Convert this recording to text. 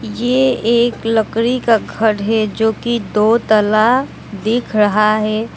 ये एक लकड़ी का घर है जो कि दो ताला दिख रहा है।